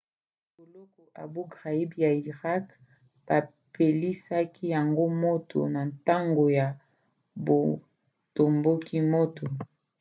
boloko abou ghraib ya irak bapelisaki yango moto na ntango ya botomboki moko